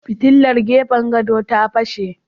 Fitilar gefen gado ta fashe.